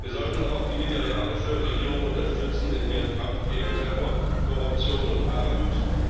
Wir sollten aber auch die nigerianische Regierung unterstützen in ihrem Kampf gegen Terror, Korruption und Armut.